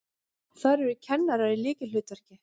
Þar eru kennarar í lykilhlutverki.